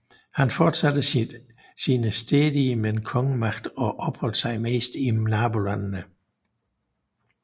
Han fortsatte sine stridigheder med kongemagten og opholdt sig mest i nabolandene